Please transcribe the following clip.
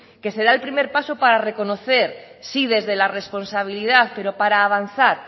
que se da el primer paso para reconocer sí desde la responsabilidad pero para avanzar